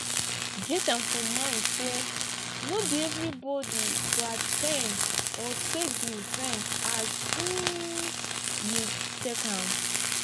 get am for mind sey no be everybody go at ten d or take di event as um you take am